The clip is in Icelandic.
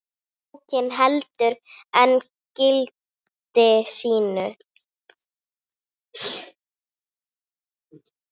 Bókin heldur enn gildi sínu.